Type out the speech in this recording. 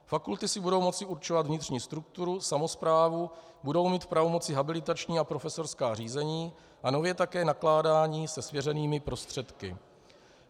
Fakulty si budou moci určovat vnitřní strukturu, samosprávu, budou mít v pravomoci habilitační a profesorská řízení a nově také nakládání se svěřenými prostředky.